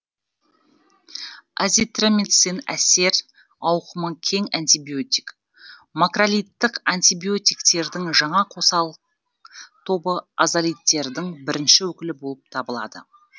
азитромицин әсер ауқымы кең антибиотик макролидтік антибиотиктердің жаңа қосалық тобы азалидтердің бірінші өкілі болып табылады